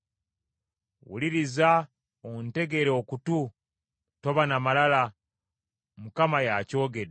Wuliriza ontegere okutu; toba na malala, Mukama y’akyogedde.